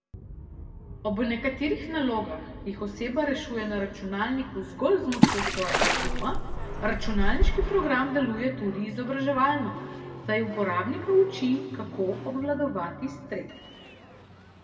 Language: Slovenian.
Ob nekaterih nalogah, ki jih oseba rešuje na računalniku zgolj z močjo svojega uma, računalniški program deluje tudi izobraževalno, saj uporabnika uči, kako obvladovati stres.